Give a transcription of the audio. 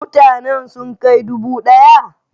Mutanen sun kai dubu daya?